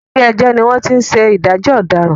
Ilé ẹjọ́ ni wọ́n ti ń ṣe ìdájọ́ ọ̀dàràn.